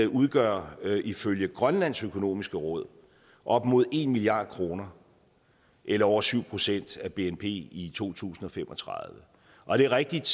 udgør ifølge grønlands økonomiske råd op imod en milliard kroner eller over syv procent af bnp i to tusind og fem og tredive og det er rigtigt